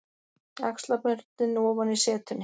Axlaböndin ofan í setunni.